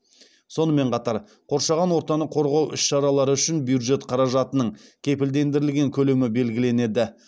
сонымен қатар қоршаған ортаны қорғау іс шаралары үшін бюджет қаражатының кепілдендірілген көлемі белгіленеді